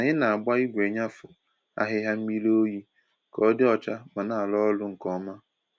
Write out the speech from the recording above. Ànyị na-agba igwe nnyafu ahịhịa mmiri oyi ka ọ dị ọcha ma na-arụ ọrụ nke ọma.